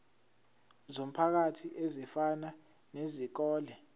zomphakathi ezifana nezikole